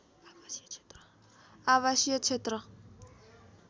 आवासीय क्षेत्र